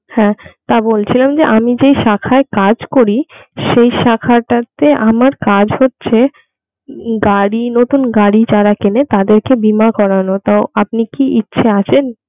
হ্যাঁ তা বলছিলাম যে আমি যে শাখায় কাজ করি সেই শাখাটাতে আমার কাজ হচ্ছে উম গাড়ি নতুন গাড়ি যারা কেনে তাদেরকে বীমা করানো তো আপনি কি ইচ্ছা আছেন?